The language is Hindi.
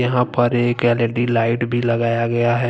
यहां पर एक एल_इ_डी लाइट भी लगाया गया है।